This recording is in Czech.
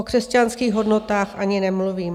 O křesťanských hodnotách ani nemluvím.